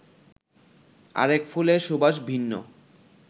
আরেক ফুলের সুবাস ভিন্ন